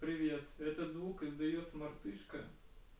привет этот звук издаёт мартышка